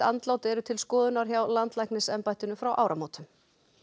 andlát eru til skoðunar hjá landlæknisembættinu frá áramótum